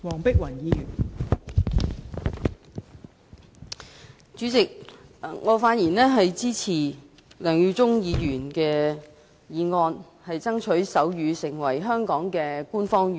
代理主席，我發言支持梁耀忠議員的議案，爭取手語成為香港的官方語言。